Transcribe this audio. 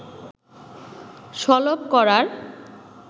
সলব করার